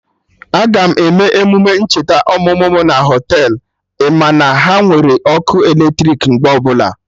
Aga m eme emume ncheta ọmụmụ mụ na Họtelụ, ị ma na ha nwere ọkụ eletrik mgbe ọbụla